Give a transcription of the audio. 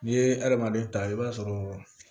N'i ye adamaden ta i b'a sɔrɔ